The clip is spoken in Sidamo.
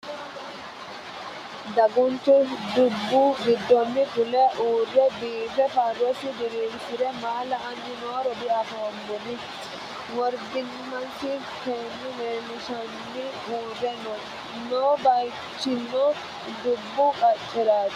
Daguunchchu dubbu gidoonni fulle uurre biiffe faroossi diriirisse maa laayiiranni nooro dianifoonni woribbimassi feenni leellishshe uurre noo . Noo baayichchinno dubbu qaceraatti